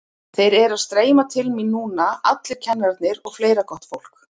Þeir eru að streyma til mín núna allir kennararnir og fleira gott fólk.